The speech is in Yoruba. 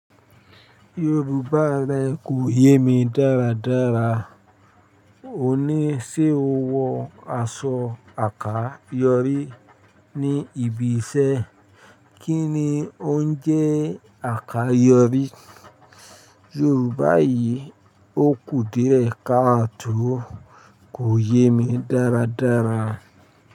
Yorùbá rẹ kò yé mi dáradára. O ní, ṣé o wọ aṣọ àká yorí ní ibi iṣẹ́? Kí ni ó ń jẹ́ àká yorí? Yorùbá yìí ó kù díẹ̀ káà to, kò yé mi dáradára.